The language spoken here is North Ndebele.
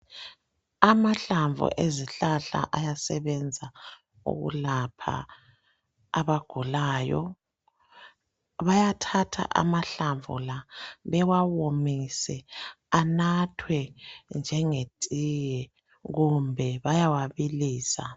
Amahlamvu ezihlahla ayasebenza ukulapha abagulayo, bayathatha amahlamvu la bewawomise anathwe njengetiye kumbe bayawabilisa.